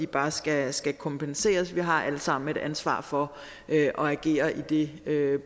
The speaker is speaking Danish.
bare skal skal kompenseres vi har alle sammen et ansvar for at agere i det